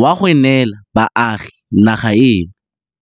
wa go neela baagi naga eno.